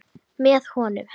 Með honum.